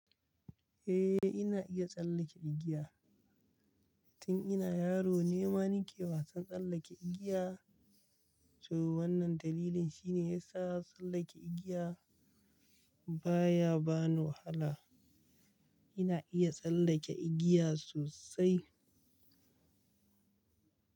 Eh ina iya tsallake igiya. Tun ina yaro ne ma nike wasan tsallake igiya. To wannan dalilin shine yasa tsallake igiya baya bani wahala. Ina iya tsallake igiya sosai.